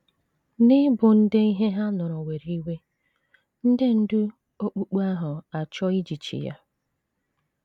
N’ịbụ ndị ihe ha nụrụ were iwe, ndị ndú okpukpe ahụ achọọ ijichi ya.